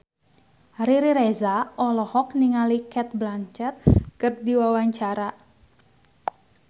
Riri Reza olohok ningali Cate Blanchett keur diwawancara